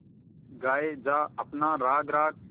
गाये जा अपना राग राग